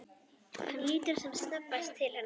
Hann lítur sem snöggvast til hennar.